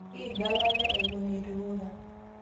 Yiga lala ewuon eitu ilura